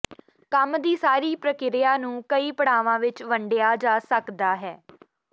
ਕੰਮ ਦੀ ਸਾਰੀ ਪ੍ਰਕਿਰਿਆ ਨੂੰ ਕਈ ਪੜਾਵਾਂ ਵਿੱਚ ਵੰਡਿਆ ਜਾ ਸਕਦਾ ਹੈ